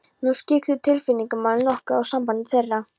Nú skyggðu tilfinningamál nokkuð á samband þeirra.